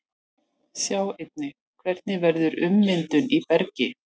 Sjá einnig: Hvernig verður ummyndun í bergi?